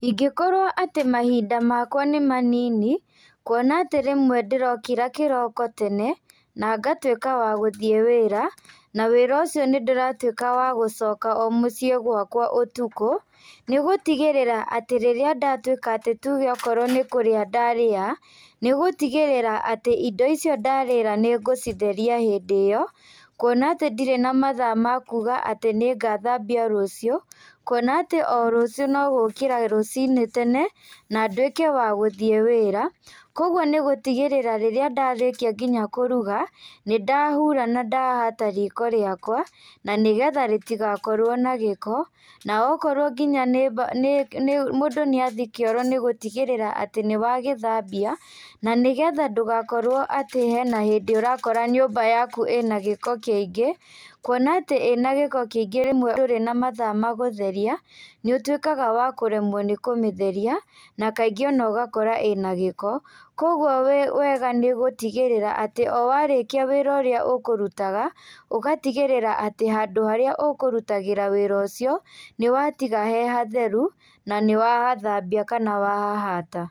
Ingĩkorwo atĩ mahinda makwa nĩ manini, kuona atĩ rĩmwe ndĩrokĩra kĩroko tene, na ngatwĩka wa gũthiĩ wĩra, na wĩra ũcio nĩndĩratwĩka wa gũcoka o mũciĩ gwakwa ũtukũ, nĩgũtigĩrĩra atĩ rĩrĩa ndatwĩka atĩ tuge nĩ kũrĩa ndarĩa, nĩgũtigĩrĩra atĩ indo icio ndarĩra nĩngũcitheria hĩndĩ ĩyo, kuona atĩ ndirĩ na mathaa makuga atĩ nĩngathambia rũciũ, kuona atĩ o rũcio nogũkĩra rũci-inĩ tene, na ndwĩke wa gũthiĩ wĩra, koguo nĩgũtigĩrĩra rĩrĩa ndarĩkia nginya kũruga, nĩndahura na ndahata riko rĩakwa na nĩgetha rĩtigakorwo na gĩko, na okorwo nginya nĩ mba nĩ nĩ mũndũ nĩathiĩ kĩoro nĩgũtigĩrĩra atĩ nĩwagĩthambia, na nĩgetha ndũgakorwo atĩ hena hĩndí ũrakora nyũmba yaku ĩna gĩko kĩingĩ, kuona atĩ ĩna gĩko kĩingĩ rĩmwe ndũrĩ na mathaa ma gũtheria, nĩũtwĩkaga wa kũremwo nĩ kũmĩtheria, na kaingĩ onogakora ĩna gĩko, koguo wĩ wega nĩgũtigĩrĩra atĩ o warĩkia wĩra ũrĩa ũkũrutaga, ũgatigĩrĩra atĩ handũ harĩa ũkũrutagĩra wĩra ũcio, nĩwatiga he hatheru na nĩwa hathambia kana wa hahata.